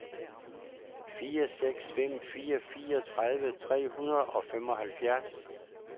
fire seks fem fire fireogtredive tre hundrede og femoghalvfjerds